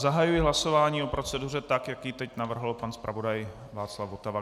Zahajuji hlasování o proceduře tak, jak ji teď navrhl pan zpravodaj Václav Votava.